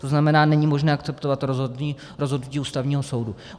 To znamená, není možné akceptovat rozhodnutí Ústavního soudu.